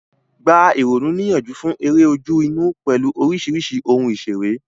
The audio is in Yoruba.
Gba ìrònú níyànjú fún eré ojú-inú pẹ̀lú oríṣiríṣi ohun ìṣeré.